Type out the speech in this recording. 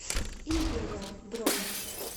империал бронь